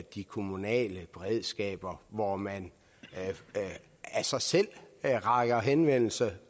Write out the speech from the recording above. de kommunale beredskaber hvor man af sig selv retter henvendelse